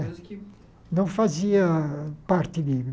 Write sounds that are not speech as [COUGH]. [UNINTELLIGIBLE] que... Não fazia parte dele